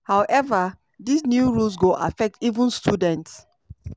however dis new rules go affect even students